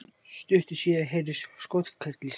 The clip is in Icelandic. Stuttu síðar heyrðust skothvellir